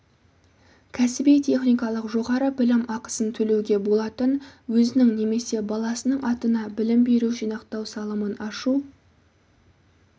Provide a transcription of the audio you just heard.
кәсіби-техникалық жоғары білім ақысын төлеуге болатын өзінің немесе баласының атына білім беру жинақтау салымын ашу